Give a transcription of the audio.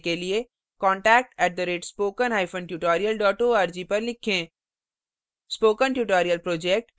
अधिक जानकारी के लिए contact @spokentutorial org पर लिखें